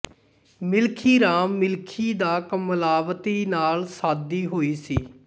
ਮਿਲਖੀ ਰਾਮ ਮਿਲਖੀ ਦਾ ਕਮਲਾਵੰਤੀ ਨਾਲ ਸਾਦੀ ਹੋਈ ਸੀ